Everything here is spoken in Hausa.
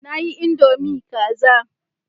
Na yi Indomie kaza